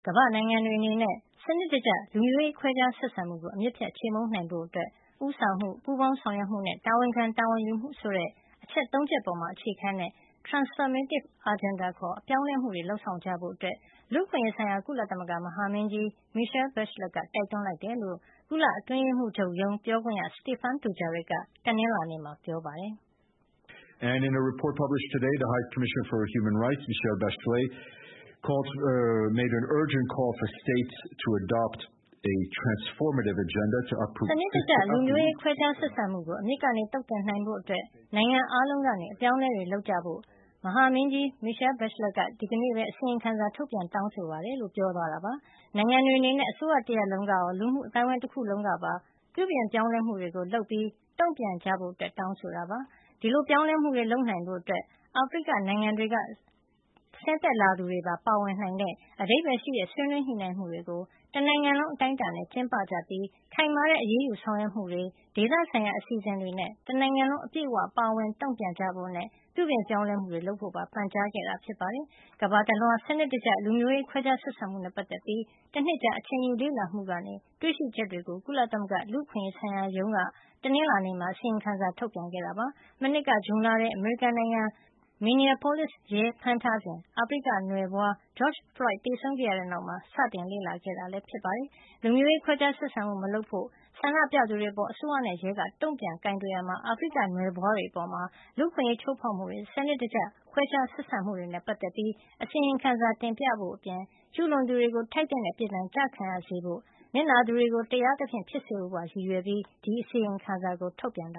ကမ္ဘာ့နိုင်ငံတွေ အနေနဲ့ စံနစ်တကျ လူမျိုးရေးခွဲခြားဆက်ဆံမှုကို အမြစ်ဖြတ် ခြေမှုန်းနိုင်ဖို့အတွက် ဦးဆောင်မှု၊ ပူးပေါင်းဆောင်ရွက်မှုနဲ့ တာဝန်ခံတာဝန်ယူမှုဆိုတဲ့ အချက် ၃ ချက်ပေါ်အခြေခံတဲ့ “transformative agenda” ခေါ် ပြောင်းလဲမှုတွေ လုပ်ဆောင်ကြဖို့ လူ့အခွင့်ရေးဆိုင်ရာ ကုလသမဂ္ဂ မဟာမင်းကြီး Michelle Bachelet က တိုက်တွန်းလိုက်တယ်လို့ ကုလအတွင်းရေးမှုးချုပ်ရုံး ပြောခွင့်ရ Stephane Dujarric က တနင်္လာနေ့မှာ ပြောပါတယ်။ စံနစ်တကျ လူမျိုးရေးခွဲခြားဆက်ဆံမှုကို အမြစ်ကနေသုတ်သင်နိုင်ဖို့အတွက် နိုင်ငံအားလုံးက အပြောင်းအလဲတွေ လုပ်ကြဖို့ ကုလမဟာမင်းကြီး Michelle Bachelet က ဒီနေ့ပဲ အစီရင်ခံစာ ထုတ်ပြန် တောင်းဆို လိုက်ပါတယ် လို့ပြောသွားတာပါ။ နိုင်ငံတွေ အနေနဲ့ အစိုးရတရပ်လုံးကရော၊ လူမှု အသိုင်းဝိုင်း တခုလုံးကပါ ပြုပြင်ပြောင်းလဲမှုတွေ လုပ်ပြီး တုန့်ပြန် ကြဖို့တောင်းဆိုတာ ဖြစ်ပါတယ်။ ဒီလို ပြောင်းလဲမှုတွေ လုပ်နိုင်ဖို့ အတွက် အာဖရိကနိုင်ငံတွေက ဆင်းသက်လာသူတွေပါ ပါဝင်တဲ့ အဓိပ္ပါယ်ရှိတဲ့ ဆွေးနွေးညှိနှိုင်းမှုတွေကို တနိုင်ငံလုံး အတိုင်းအတာနဲ့ ကျင်းပကြပြီး ခိုင်မာတဲ့ အရေးယူဆောင်ရွက်တွေ၊ ဒေသဆိုင်ရာ အစီအစဉ်တွေနဲ့ တနိုင်ငံလုံး အပြည့်အဝ ပါဝင် တုန့်ပြန်ကြဖို့ နဲ့ ပြုပြင်ပြောင်းလဲမှုတွေလုပါကြဖို့ ပန်ကြားလိုက်တာပါ။ ကမ္ဘာတလွှား စံနစ်တကျ လူမျိုးရေး ခွဲခြားဆက်ဆံမှုနဲ့ ပတ်သက်ပြီး တနှစ်ကြာ အချိန်ယူလေ့လာမှုကနေ တွေ့ရှိချက်တွေကို ကုလသမဂ္ဂလူ့အခွင့်ရေးဆိုင်ရာရုံး က တနင်္လာနေ့မှာ အစီရင်ခံစာ ထုတ်ပြန် ပြောဆိုလိုက်တာဖြစ်ပါတယ်။ မနှစ်က ဇွန်လထဲ အမေရိကန်နိုင်ငံမှာ Minneapolis ရဲဖမ်းထားစဉ် အာဖရိကနွယ်ဖွား George Floyd သေဆုံးခဲ့ရတဲ့ နောက် စတင်လေ့လာခဲ့တာ ဖြစ်ပါတယ်။ လူမျိုးရေး ခွဲခြားဆက်ဆံမှုမလုပ်ဖို့ ဆန္ဒပြကြသူတွေ အပါ် အစိုးရနဲ့ ရဲက တုန့်ပြန်ကိုင်တွယ်ရာမှာ အာဖရိက နွယ်ဖွားတွေ အပေါ် လူ့အခွင့်ရေး ချိုးဖေါက်မှုတွေ၊ စံနစ်တကျ ခွဲခြားဆက်ဆံမှုတွေနဲ့ ပတ်သက်ပြီး အစီရင်ခံတင်ပြဖို့ အပြင် ကျူးလွန်သူကို ထိုက်သင့်တဲ့ အပြစ်ဒဏ်ကျခံရစေဖို့ နစ်နာသူတွေ တရားသဖြင့်ဖြစ်စေဖို့ ပါရည်ရွယ်ပြီး ဒီအစီရင်ခံစာကို ထုတ်ပြန်ခဲ့တ